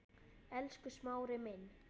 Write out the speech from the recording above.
Elsku Smári minn.